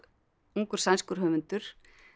ungur sænskur höfundur